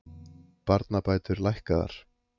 Barnabætur lækkaðar